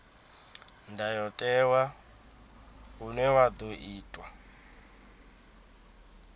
ndayotewa une wa ḓo itwa